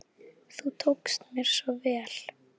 Þú tókst mér svo vel.